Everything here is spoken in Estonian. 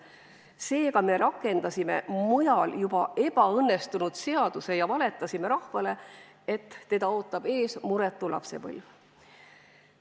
Seega, me rakendasime mujal ebaõnnestunud seaduse ja valetasime rahvale, et ees ootab muretu lapsepõlv.